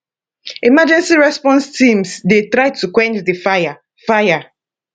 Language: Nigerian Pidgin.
emergency response teams dey try to quench di fire fire